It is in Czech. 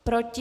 Proti?